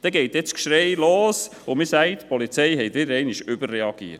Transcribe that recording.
Dann geht das Geschrei los, und man sagt, die Polizei habe wieder einmal überreagiert.